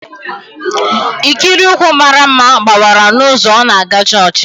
Ikiri ụkwụ mara mma gbawara n'ụzọ ọ na-aga chọọchị